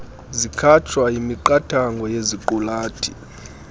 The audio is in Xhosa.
zikhatshwa yimiqathango yeziqulathi